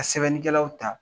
Ka sɛbɛnni kɛlaw ta